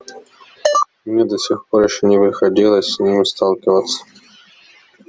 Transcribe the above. мне до сих пор ещё не приходилось с ним сталкиваться